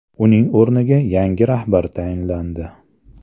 Uning o‘rniga yangi rahbar tayinlandi .